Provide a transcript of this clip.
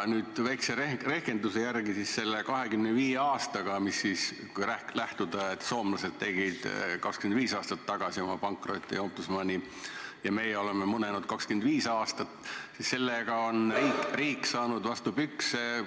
Väikse rehkenduse järgi on riik selle 25 aastaga – kui lähtuda sellest, et soomlased tegid 25 aastat tagasi oma pankrotiombudsmani ja meie oleme munenud 25 aastat – saanud vastu pükse